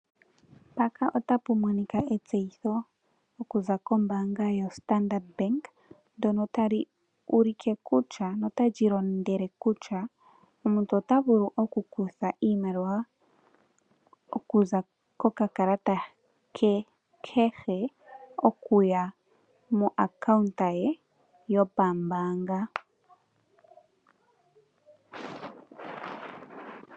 Etseyitho okuza kombaanga yoStandard ndyono tali ulike notali londodha kutya omuntu ota vulu okukutha iimaliwa okuza kokakalata ke kehe okuya momayalulilo ge gombaanga.